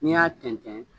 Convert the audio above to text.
N'i y'a tɛntɛn